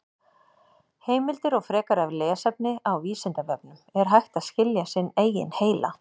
Heimildir og frekara lesefni á Vísindavefnum: Er hægt að skilja sinn eigin heila?